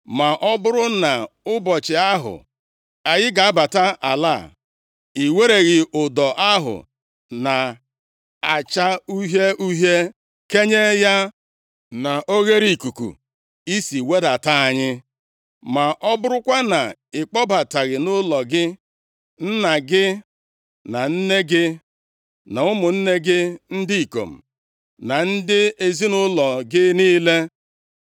ma ọ bụrụ na nʼụbọchị ahụ anyị ga-abata ala a, i wereghị ụdọ ahụ na-acha uhie uhie kenye ya na oghereikuku i si wedata anyị, ma ọ bụrụkwa na ịkpọbataghị nʼụlọ gị nna gị, na nne gị, na ụmụnne gị ndị ikom, na ndị ezinaụlọ gị niile.